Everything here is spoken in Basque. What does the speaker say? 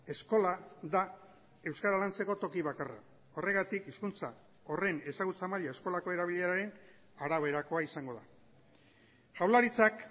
eskola da euskara lantzeko toki bakarra horregatik hizkuntza horren ezagutza maila eskolako erabileraren araberakoa izango da jaurlaritzak